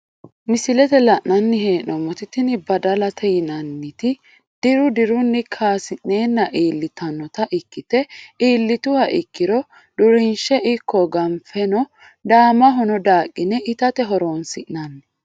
Misilete la`nani heenomoti tini badalate yinaniti diru diruni kaasineena ilitanota ikite iilituha ikiro durinsheno ikko ganfeno daamahono daaqine itate horonsi`nani.